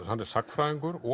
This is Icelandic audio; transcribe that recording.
hann er sagnfræðingur